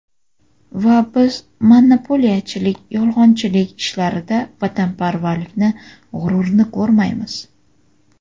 Va biz monopoliyachilik, yolg‘onchilik ishlarida vatanparvarlikni, g‘ururni ko‘rmaymiz.